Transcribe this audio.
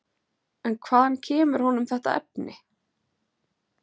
En hvaðan kemur honum þetta efni?